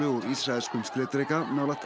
úr ísraelskum skriðdreka nálægt